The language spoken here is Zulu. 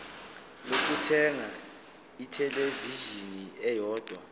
lokuthenga ithelevishini eyodwa